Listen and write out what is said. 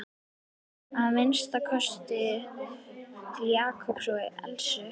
Að minnsta kosti til Jakobs og Elsu.